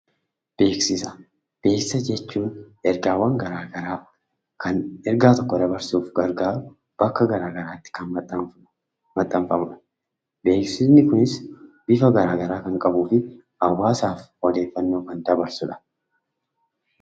Beeksisa: Beeksisa jechuun ergaawwan gara garaa kan ergaawwan gara garaa dabrsuuf gargaaru bakka gara garaatti kan maxxanfamudha. Beeksisni kunis bifa gara garaa kan qabuu fi hawwaasaaf odeeffannoo kan dabarsudha.